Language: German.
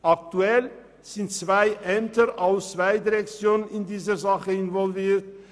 Aktuell sind zwei Ämter aus zwei Direktionen involviert.